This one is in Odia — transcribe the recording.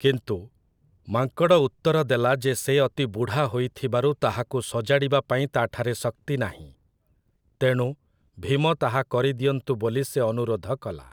କିନ୍ତୁ, ମାଙ୍କଡ଼ ଉତ୍ତର ଦେଲା ଯେ ସେ ଅତି ବୁଢ଼ା ହୋଇଥିବାରୁ ତାହାକୁ ସଜାଡ଼ିବା ପାଇଁ ତା'ଠାରେ ଶକ୍ତି ନାହିଁ। ତେଣୁ, ଭୀମ ତାହା କରିଦିଅନ୍ତୁ ବୋଲି ସେ ଅନୁରୋଧ କଲା ।